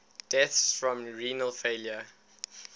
deaths from renal failure